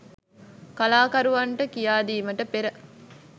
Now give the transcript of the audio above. කලාකරුවන්ට කියාදීමට පෙර